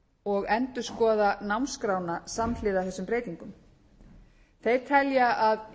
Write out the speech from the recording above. og endurskoða námskrána samhliða þessum breytingum þeir telja að